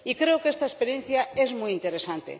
Y creo que esta experiencia es muy interesante.